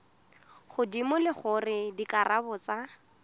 godimo le gore dikarabo tsa